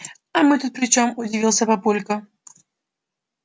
а мы тут при чём удивился папулька